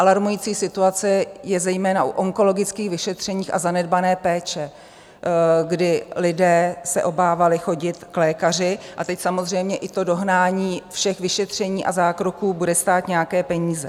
Alarmující situace je zejména u onkologických vyšetření a zanedbané péče, kdy lidé se obávali chodit k lékaři a teď samozřejmě i to dohnání všech vyšetření a zákroků bude stát nějaké peníze.